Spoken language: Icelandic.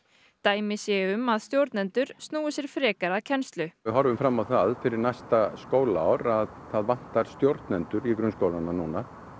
dæmi séu um að stjórnendur snúi sér frekar að kennslu við horfum fram á það fyrir næsta skólaár að það vantar stjórnendur í grunnskólunum núna